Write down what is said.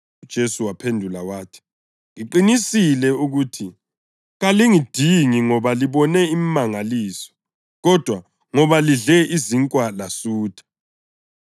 UJesu waphendula wathi, “Ngiqinisile ukuthi kalingidingi ngoba libone imimangaliso, kodwa ngoba lidle izinkwa lasutha.